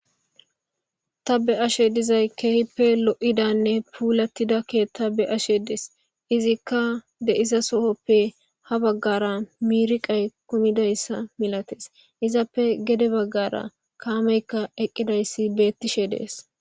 tabe ashe dizay keehippe lo7idanne puulatidakke tabbe ashe dees izikka de7iza sohoppe ha baggara miiriqay kumidayssa milates izappe gede baggara kaameykka eqqidayssi beettishe dees